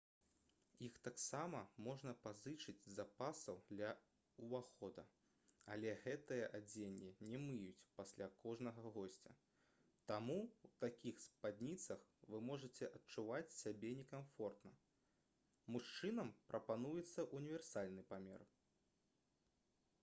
іх таксама можна пазычыць з запасаў ля ўвахода але гэтае адзенне не мыюць пасля кожнага госця таму ў такіх спадніцах вы можаце адчуваць сябе некамфортна мужчынам прапануецца ўніверсальны памер